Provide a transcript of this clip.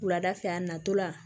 Wulada fɛ a natɔla